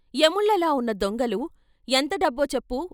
"యముళ్ళలా ఉన్న దొంగలు"ఎంత డబ్బో చెప్పు.